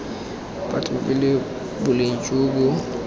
batho pele boleng jo bo